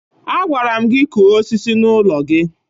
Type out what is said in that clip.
Agwara m gị kụọ osisi n'ụlọ gị!